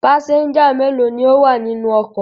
Pásẹ́ńjà mélòó ni ó wà nínú ọkọ̀?